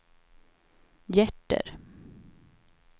hjärter